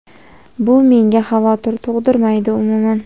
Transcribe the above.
Bu menga xavotir tug‘dirmaydi umuman.